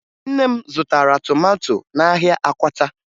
Nne m zụtara tomato n'ahịa Akwata